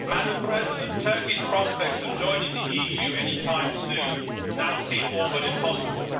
Madam President, Turkey's prospects of joining the EU anytime soon now seem all but impossible.